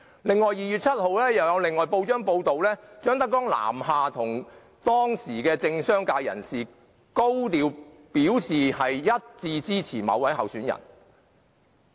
在2月7日有一份報章報道，張德江南下向當時的政商界人士高調表示支持某位候選人。